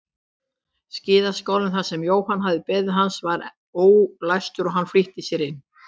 Skíðaskálinn þar sem Jóhann hafði beðið hans var enn ólæstur og hann flýtti sér inn.